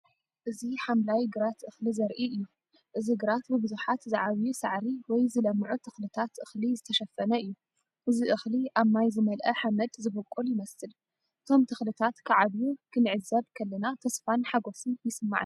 እዚ ሓምላይ ግራት እኽሊ ዘርኢ እዩ። እዚ ግራት ብብዙሓት ዝዓብዩ ሳዕሪ ወይ ዝለምዑ ተኽልታት እኽሊ ዝተሸፈነ እዩ። እዚ እኽሊ ኣብ ማይ ዝመልአ ሓመድ ዝበቁል ይመስል። እቶም ተኽልታት ክዓብዩ ክንዕዘብ ከለና ተስፋን ሓጎስን ይስምዓና።